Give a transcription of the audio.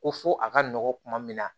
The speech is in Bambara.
Ko fo a ka nɔgɔn kuma min na